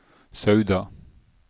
Sauda